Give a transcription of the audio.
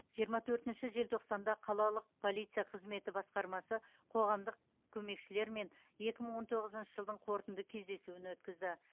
жиырма төртінші желтоқсанда қалалық полиция қызметі басқармасы қоғамдық көмекшілермен екі мың он тоғызыншы жылдың қорытынды кездесуін өткізді